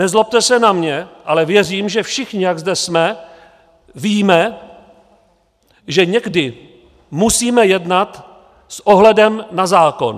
Nezlobte se na mě, ale věřím, že všichni, jak zde jsme, víme, že někdy musíme jednat s ohledem na zákon.